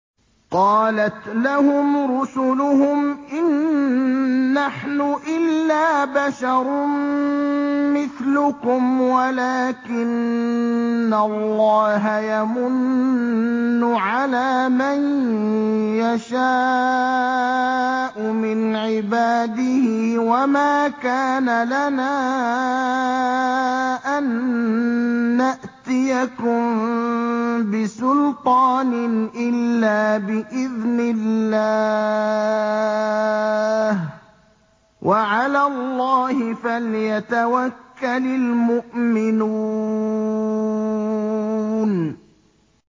قَالَتْ لَهُمْ رُسُلُهُمْ إِن نَّحْنُ إِلَّا بَشَرٌ مِّثْلُكُمْ وَلَٰكِنَّ اللَّهَ يَمُنُّ عَلَىٰ مَن يَشَاءُ مِنْ عِبَادِهِ ۖ وَمَا كَانَ لَنَا أَن نَّأْتِيَكُم بِسُلْطَانٍ إِلَّا بِإِذْنِ اللَّهِ ۚ وَعَلَى اللَّهِ فَلْيَتَوَكَّلِ الْمُؤْمِنُونَ